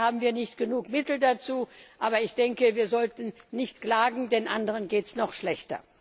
Leider haben wir nicht genügend Mittel dazu, aber ich denke, wir sollten nicht klagen, denn anderen geht es noch schlechter!